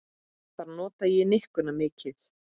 Þar nota ég nikkuna mikið.